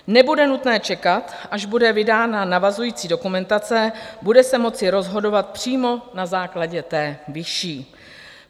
Nebude nutné čekat, až bude vydána navazující dokumentace, bude se moci rozhodovat přímo na základě té vyšší.